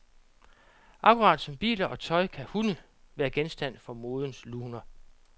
Akkurat som biler og tøj, kan hunde være genstand for modens luner.